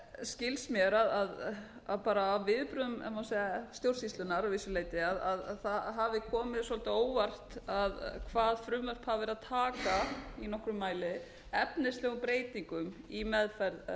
skilst mér af viðbrögðum ef má segja stjórnsýslunnar að vissu leyti að það hafi komið svolítið á óvart hvað frumvörp hafi verið að taka í nokkrum mæli efnislegum breytingum í meðferð